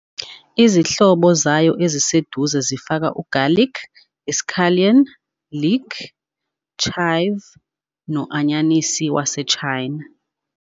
Izihlobo zayo eziseduze zifaka ugarlic, iscallion, leek, chive, no- anyanisi waseChina.